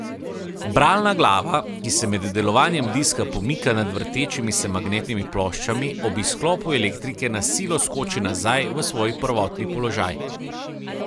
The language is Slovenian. Bralna glava, ki se med delovanjem diska pomika nad vrtečimi se magnetnimi ploščami, ob izklopu elektrike na silo skoči nazaj v svoj prvotni položaj.